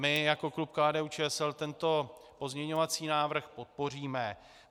My jako klub KDU-ČSL tento pozměňovací návrh podpoříme.